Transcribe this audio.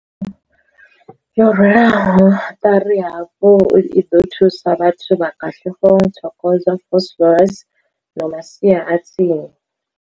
yo rwelwaho ṱari hafhu i ḓo thusa vhathu vha Katlehong, Thokoza, Vosloorus na masia a tsini.